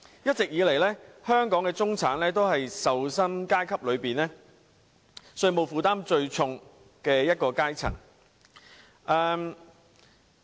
一直以來，香港的中產都是受薪階級中稅務負擔最重的一個階層。